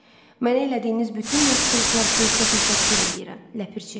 Mənə elədiyiniz bütün yaxşılıqlar üçün sizə təşəkkür eləyirəm, Ləpirçi.